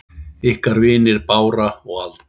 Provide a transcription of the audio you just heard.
Ykkar vinir Bára og Alda.